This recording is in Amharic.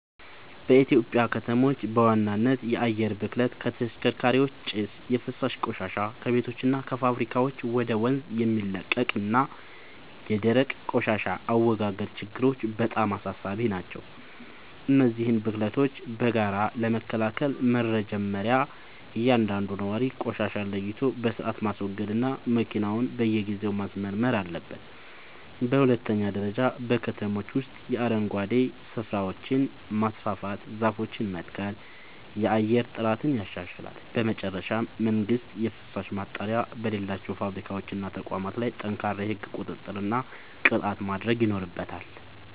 በኢትዮጵያ ከተሞች በዋናነት የአየር ብክለት (ከተሽከርካሪዎች ጭስ)፣ የፍሳሽ ቆሻሻ (ከቤቶችና ከፋብሪካዎች ወደ ወንዝ የሚለቀቅ) እና የደረቅ ቆሻሻ አወጋገድ ችግሮች በጣም አሳሳቢ ናቸው። እነዚህን ብክለቶች በጋራ ለመከላከል መጀመርያ እያንዳንዱ ነዋሪ ቆሻሻን ለይቶ በሥርዓት ማስወገድና መኪናውን በየጊዜው ማስመርመር አለበት። በሁለተኛ ደረጃ በከተሞች ውስጥ የአረንጓዴ ስፍራዎችን ማስፋፋትና ዛፎችን መትከል የአየር ጥራትን ያሻሽላል። በመጨረሻም መንግሥት የፍሳሽ ማጣሪያ በሌላቸው ፋብሪካዎችና ተቋማት ላይ ጠንካራ የሕግ ቁጥጥርና ቅጣት ማድረግ ይኖርበታል።